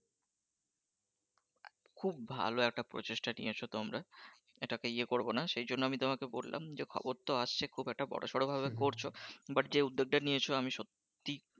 খুব ভালো একটা প্রচেষ্টা নিয়েছো তোমরা এটাকে ইয়ে করবো না সেইজন্য আমি তোমাকে বল্লাম যে খবর তো আসছে খুব একটা বড়সড় ভাবে করছো but যে উদ্যোগ টা নিয়েছো আমি সত্যি,